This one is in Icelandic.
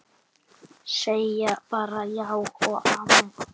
Segja bara já og amen.